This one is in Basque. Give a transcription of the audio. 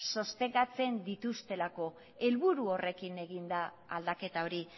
sostengatzen dituztelako helburu horrekin egin da aldaketa hori